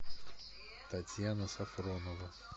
татьяна сафронова